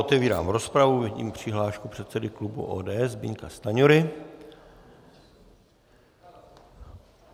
Otevírám rozpravu, vidím přihlášku předsedy klubu ODS Zbyňka Stanjury.